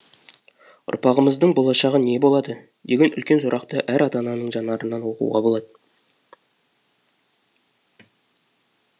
ұрпағымыздың болашағы не болады деген үлкен сұрақты әр ата ананың жанарынан оқуға болады